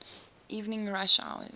evening rush hours